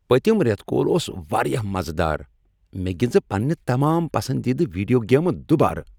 پتِم ریتہٕ كول اوس واریاہ مزٕ دار۔ مےٚ گِنزٕ پنٕنہِ تمام پسندیدٕ ویڈیو گیمہٕ دُوبارٕ۔